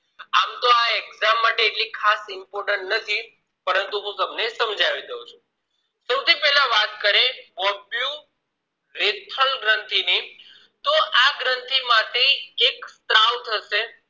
exam માટે એટલી ખાસ important નથી પરંતુ હું તમને સમજવી દઉં છું સૌથીપેલા વાત કરીશ ગ્રન્થિ ની તો આ ગ્રંથી માંથી એક સ્ત્રાવ થશે